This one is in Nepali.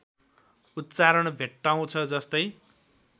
उच्चारण भेट्टाउँछ जस्तै